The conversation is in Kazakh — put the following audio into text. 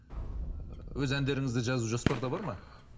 өз әндеріңізді жазу жоспарда бар ма